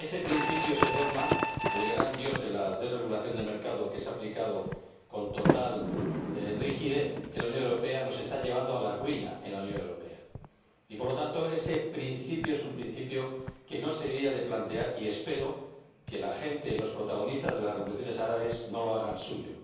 Ese principio, ese dogma, el gran Dios de la desregulación del mercado, que se ha aplicado con total rigidez en la Unión Europea, nos está llevando a la ruina en la Unión Europea y, por lo tanto, ese principio es un principio que no se debería plantear, y espero que los protagonistas de las revoluciones árabes no lo hagan suyo.